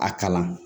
A kalan